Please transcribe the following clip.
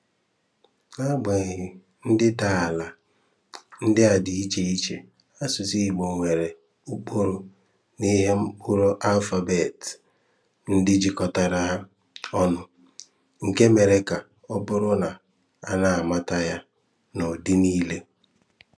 N'agbanyeghị ndịdaala ndị a dị iche iche, asụsụ Igbo nwere ụkpụrụ na ihe mkpụrụ (alphabet) ndị jikọtara ha ọnụ, nke mere ka ọ bụrụ na a na-amata ya n'udi niile.